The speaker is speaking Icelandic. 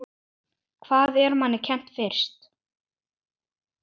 Hvað er manni kennt fyrst?